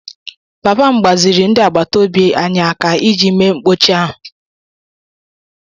Papa m gbaziri ndị agbata obi anyị aka iji bee mkpọchi ahụ